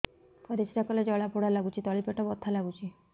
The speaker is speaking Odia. ପରିଶ୍ରା କଲେ ଜଳା ପୋଡା ଲାଗୁଚି ତଳି ପେଟ ବଥା ଲାଗୁଛି